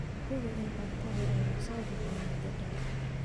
Hubi in cuntadu aanay soo bixin muddo dheer.